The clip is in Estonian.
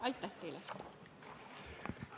Aitäh teile!